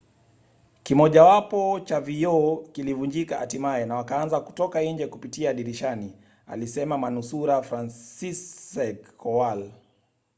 kimojawapo cha vioo kilivunjika hatimaye na wakaanza kutoka nje kupitia dirishani, alisema manusura franciszek kowal